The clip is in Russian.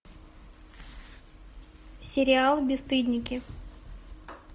сериал бесстыдники